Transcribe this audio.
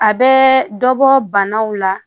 A bɛ dɔ bɔ banaw la